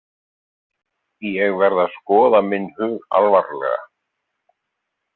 Ég verð að skoða minn hug alvarlega.